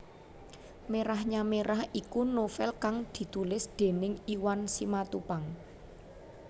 Merahnya Merah iku novèl kang ditulis déning Iwan Simatupang